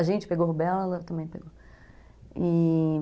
A gente pegou rubéola, ela também pegou, e...